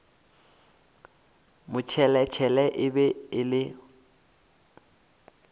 motšheletšhele e be e le